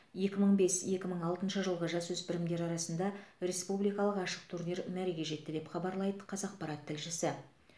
екі мың бес екі мың алтыншы жылғы жасөспірімдер арасында республикалық ашық турнир мәреге жетті деп хабарлайды қазақпарат тілшісі